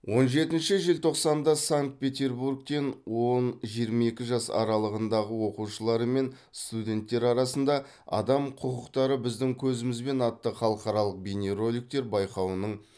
он жетінші желтоқсанда санкт петербургтен он жиырма екі жас аралығындағы оқушылар мен студенттер арасында адам құқықтары біздің көзімізбен атты халықаралық бейнероликтер байқауының